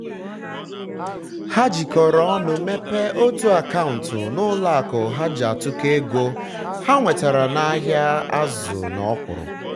ha um jikoro ọnụ mepee otu um akaụntụ n'ụlọ akụ ha ji atụkọ ego um ha nwetara n'ahịa azụ na ọkwụrụ